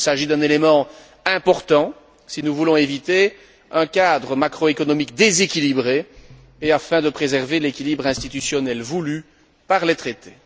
Il s'agit d'un élément important si nous voulons éviter un cadre macro économique déséquilibré et préserver l'équilibre institutionnel voulu par les traités.